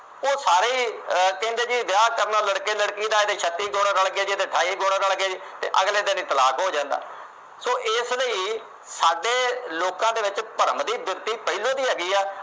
ਓ ਸਾਰੇ ਈ ਕਹਿੰਦੇ ਜੀ ਵਿਆਹ ਕਰਨਾ ਲੜਕੇ ਲੜਕੀ ਦਾ, ਜੇ ਛੱਤੀ ਗੁਣ ਰਲਗੇ, ਅਠਾਈ ਗੁਣ ਰਲਗੇ ਤੇ ਅਗਲੇ ਦਿਨ ਈ ਤਲਾਕ ਹੋ ਜਾਂਦਾ। so ਇਸ ਲਈ ਸਾਡੇ ਲੋਕਾਂ ਦੇ ਵਿੱਚ ਭਰਮ ਦੀ ਵਿਰਤੀ ਪਹਿਲਾਂ ਦੀ ਹੀ ਹੈਗੀ ਆ।